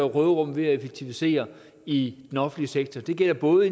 råderum ved at effektivisere i den offentlige sektor det gælder både